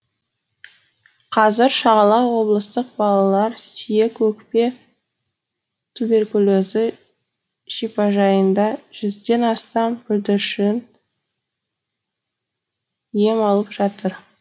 қазір шағала облыстық балалар сүйек өкпе туберкулезі шипажайында жүзден астам бүлдіршін ем алып жатыр